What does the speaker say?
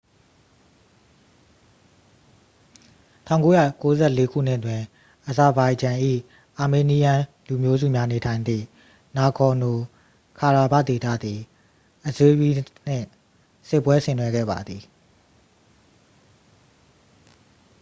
1994 ခုနှစ်တွင် အဇာဘိုင်ဂျန်၏ အာမေးနီးယန်း လူမျိုးစုများနေထိုင်သည့် နာဂေါ်နို ခါရာဘာ့ခ် ဒေသသည် အဇေးရီးစ် နှင့် စစ်ပွဲဆင်နွှဲခဲ့ပါသည်